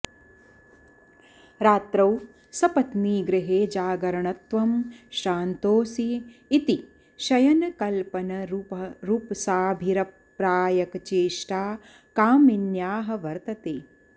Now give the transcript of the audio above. रात्रौ सपत्नीगृहे जागरणत्वं श्रान्तोऽसि इति शयनकल्पनरूपसाभिप्रायकचेष्टा कामिन्याः वर्तते